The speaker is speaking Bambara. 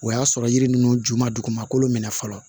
O y'a sɔrɔ yiri ninnu ju ma dugumakolo minɛ fɔlɔ